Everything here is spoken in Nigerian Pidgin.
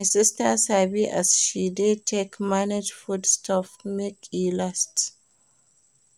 My sista sabi as she dey take manage food stuff make e last.